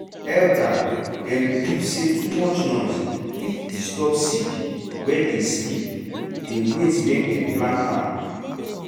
elder dem believe say too much noise fit disturb seed wey dey sleep dey wait make dem plant am.